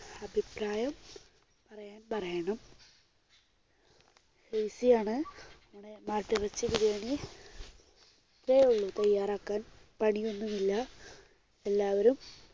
അഭിപ്രായം പറയണം. easy ആണ് മാട്ടിറച്ചി ബിരിയാണി. ഇത്രയേ ഉള്ളൂ തയ്യാറാക്കാൻ. പണി ഒന്നുമില്ല. എല്ലാവരും